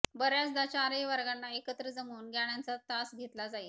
बर्याचदा चारही वर्गांना एकत्र जमवून गाण्यांचा तास घेतला जाई